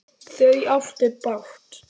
Þau áttu bágt!